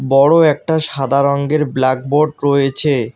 বড় একটা সাদা রঙ্গের ব্ল্যাকবোর্ড রয়েছে।